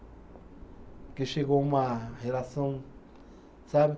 Porque chegou uma relação, sabe?